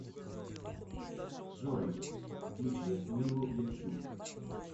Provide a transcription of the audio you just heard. джой включи милу левчук